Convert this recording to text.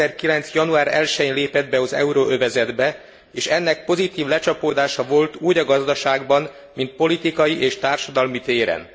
2009. január 1 jén lépett be az euróövezetbe, és ennek pozitív lecsapódása volt úgy a gazdaságban, mint politikai és társadalmi téren.